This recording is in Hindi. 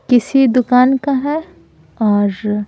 किसी दुकान का है और --